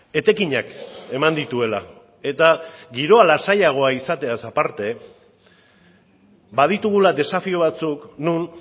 etekinak eman dituela eta giroa lasaiagoa izateaz aparte baditugula desafio batzuk non